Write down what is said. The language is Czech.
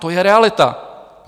To je realita.